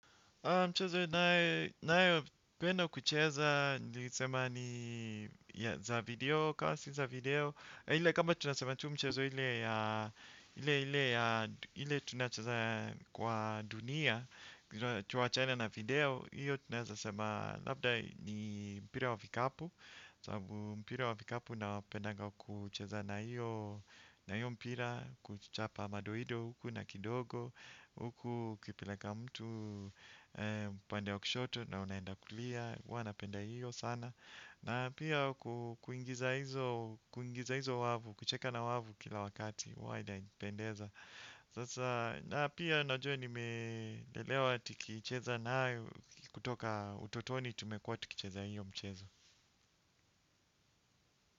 Mchezo nayo penda kucheza nilisema ni ya za video kama si za video. Ile kama tunasema tu mchezo ile ya ile ile ya ile tunachaza kwa dunia. Tu wachane na video. Iyo tunasema labda ni mpira wa vikapu sababu mpira wa vikapu na wapenda kucheza na iyo. Na iyo mpira kuchapa madoido huku na kidogo. Huku ukipe leka mtu upande wa kushoto. Na unaenda kulia huwa napenda hiyo sana. Na pia kuingiza hizo kuingiza hizo wavu kucheka na wavu kila wakati huwa inanipendeza. Na pia najua nimelelewa. Tukicheza nayo kutoka utotoni tumekuwa tuki cheza hiyo mchezo.